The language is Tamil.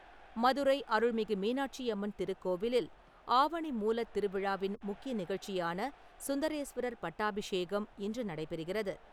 மதுரை அருள்மிகு மீனாட்சி அம்மன் திருக்கோவிலில் ஆவணி மூலத்திருவிழாவின் முக்கிய நிகழ்ச்சியான சுந்தரேஸ்வரர் பட்டாபிஷேகம் இன்று நடைபெறுகிறது.